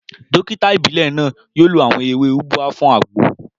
Dókítà ìbílẹ̀ náà yóò lo àwọn ewé ubwa fún àgbo